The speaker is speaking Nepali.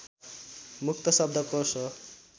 मुक्त शब्दकोष हो